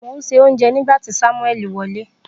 Mo n se ounje nigba ti samueli wole.